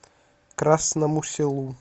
красному селу